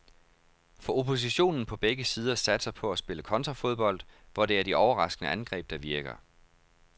For oppositionen på begge sider satser på at spille kontrafodbold, hvor det er de overraskende angreb, der virker.